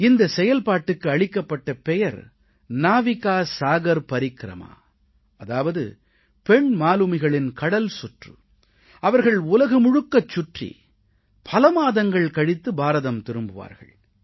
இந்தச் செயல்பாட்டுக்கு அளிக்கப்பட்ட பெயர் நாவிகா சாகர் பரிக்ரமா அதாவது பெண் மாலுமிகளின் கடல்சுற்று அவர்கள் உலகம் முழுவதையும் சுற்றி பல மாதங்கள் கழித்து பாரதம் திரும்புவார்கள்